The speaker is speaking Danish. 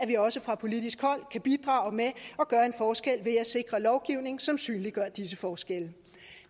vi også fra politisk hold kan bidrage med at gøre en forskel ved at sikre en lovgivning som synliggør disse forskelle